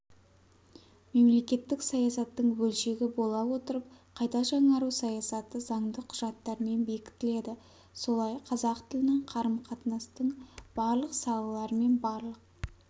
мемлекеттік саясаттың бөлшегі бола отырып қайта жаңару саясаты заңды құжаттармен бекітіледі солай қазақ тілінің қарым-қатынастың барлық салалары мен барлық